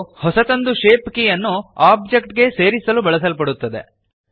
ಇದು ಹೊಸದೊಂದು ಶೇಪ್ ಕೀಯನ್ನು ಓಬ್ಜೆಕ್ಟ್ ಗೆ ಸೇರಿಸಲು ಬಳಸಲ್ಪಡುತ್ತದೆ